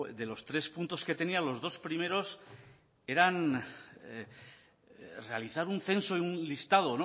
de los tres puntos que tenía los dos primeros era realizar un censo en un listado